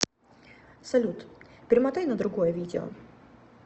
салют перемотай на другое видео